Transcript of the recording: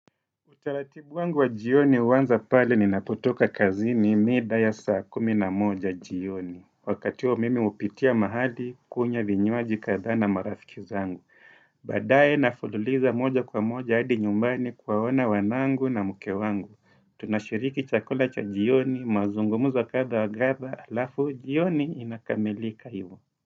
Utaratibu wangu wa jioni huanza pale ninapotoka kazini mida ya saa kumi na moja jioni. Wakati huo mimi hupitia mahali, kunywa vinywaji kadhaa na marafiki zangu. Baadaye nafululiza moja kwa moja hadi nyumbani kuwaona wanangu na mke wangu. Tunashiriki chakula cha jioni, mazungumuzo kadha wa kadha, halafu, jioni inakamilika hivyo.